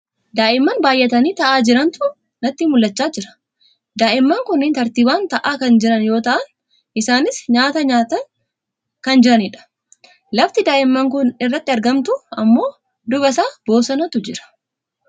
daa'imman baayatanii taa'a jirantu nutti mul'achaa jira. daa'imman kunneen tartiibaan taa'a kan jiran yoo ta'an isaanis nyaaata nyaachaan kan jirani dha. lafti daa'imman kun itti argamtu ammoo duubasaa bosonatu jira.